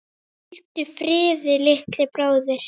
Hvíldu friði, litli bróðir.